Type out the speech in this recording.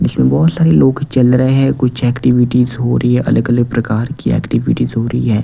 जिसमें बहुत सारे लोग चल रहे हैं कुछ एक्टिविटीज हो रही है अलग-अलग प्रकार की एक्टिविटीज हो रही है।